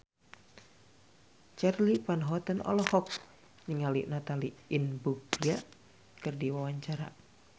Charly Van Houten olohok ningali Natalie Imbruglia keur diwawancara